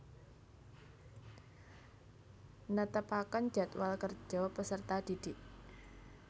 Netepaken jadwal kerja peserta didik